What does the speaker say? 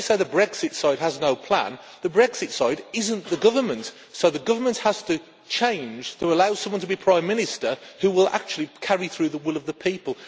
You say the Brexit side has no plan, but the Brexit side is not the government the government has to change to allow someone to be Prime Minister who will actually carry through the will of the people.